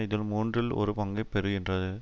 இதில் மூன்றில் ஒரு பங்கை பெறுகின்றது